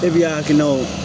E b'i hakilinaw